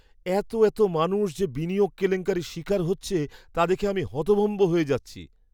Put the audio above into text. এতো এতো মানুষ যে বিনিয়োগ কেলেঙ্কারির শিকার হচ্ছে তা দেখে আমি হতভম্ব হয়ে যাচ্ছি!